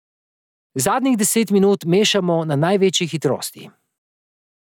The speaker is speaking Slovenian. Zadnjih deset minut mešamo na največji hitrosti.